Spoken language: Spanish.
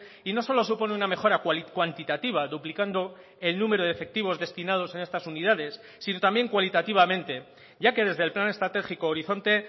y no solo supone una mejora cuantitativa duplicando el número de efectivos destinados en estas unidades sino también cualitativamente ya que desde el plan estratégico horizonte